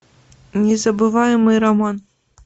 незабываемый роман